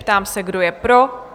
Ptám se, kdo je pro?